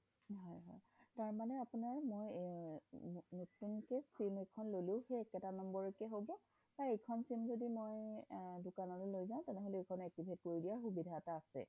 তাৰ মানে আপোনাৰ মই নতুনকে sim এখন ললো সেই একেটা number তে হব বা এইখন sim যদি মই দিকান লৈ লৈ যাও তেনেহলে এইখন activate কৰি দিয়াৰ সুবিধা এটা আছে